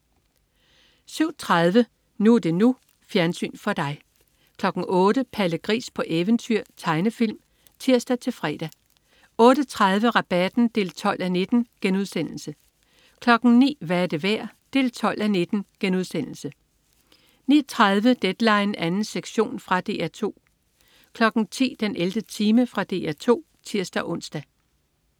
07.30 NU er det NU. Fjernsyn for dig 08.00 Palle Gris på eventyr. Tegnefilm (tirs-fre) 08.30 Rabatten 12:19* 09.00 Hvad er det værd? 12:19* 09.30 Deadline 2. sektion. Fra DR 2 10.00 den 11. time. Fra DR 2 (tirs-ons)